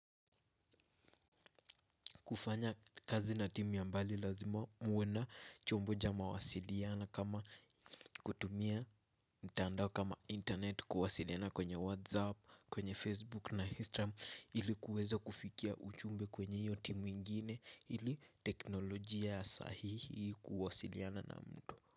Kufanya kazi na timu ya mbali lazima muwe na chombo cha mawasiliano kama kutumia mtandao kama internet kuwasiliana kwenye Whatsapp, kwenye Facebook na Instagram ili kuweza kufikia ujumbe kwenye hiyo timu ingine ili teknolojia sahihi kuwasiliana na mtu.